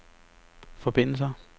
forbindelser